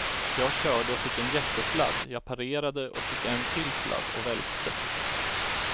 Jag körde och fick en jättesladd, jag parerade och fick en till sladd och välte.